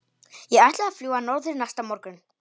Ég ætlaði að fljúga norður næsta morgun.